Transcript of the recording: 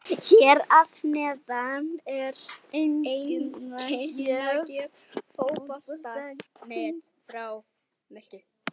Hér að neðan er einkunnagjöf Fótbolta.net frá Möltu.